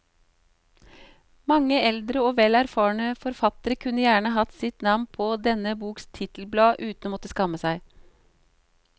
Mange eldre og vel erfarne forfattere kunne gjerne hatt sine navn på denne boks titelblad uten å måtte skamme seg.